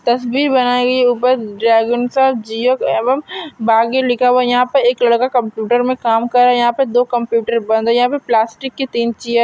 तस्वीर बनाई है उपर ड्रेगन सा जियो एवं बागी लिखा हुआ है यहाँ पर एक लड़का कम्प्यूटर में काम कर रहा है यहाँ पर दो कम्प्यूटर बंद है यहाँ पे प्लास्टिक की तीन चेयर --